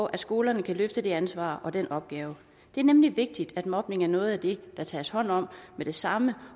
at skolerne kan løfte det ansvar og den opgave det er nemlig vigtigt at mobning er noget af det der tages hånd om med det samme